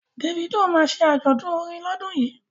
Davido ma ṣe àjọ̀dún orin lọ́dún yìí